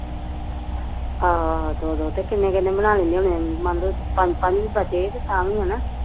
ਆਹੋ ਆਹੋ ਦੋ ਦੋ ਤੇ ਕਿੰਨੇ ਕਿੰਨੇ ਬਣਾ ਲੈਂਦੇ ਹੋਣੇ ਏਹ ਮਨਲੋ ਪੰਜ ਪੰਜ ਵੀ ਬਚੇ ਤੇ ਤਾਂ ਵੀ ਹੈਨਾ